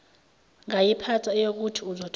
ngayiphatha eyokuthi uzothola